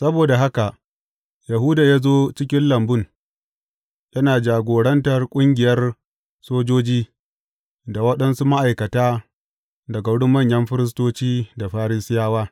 Saboda haka Yahuda ya zo cikin lambun, yana jagoranta ƙungiyar sojoji da waɗansu ma’aikata daga wurin manyan firistoci da Farisiyawa.